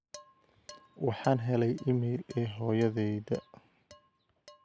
waxaan helay iimayl ee hoyodayda